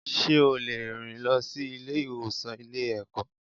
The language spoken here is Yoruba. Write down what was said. Sé ó lè rìn lọ sí Ilé ìwòsàn Ilé ẹ̀kọ́